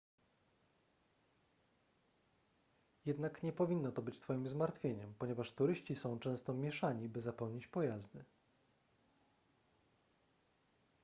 jednak nie powinno to być twoim zmartwieniem ponieważ turyści są często mieszani by zapełnić pojazdy